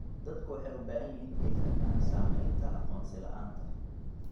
Dadku waxay u baahan yihiin inay fahmaan saamaynta aqoonsi la'aanta.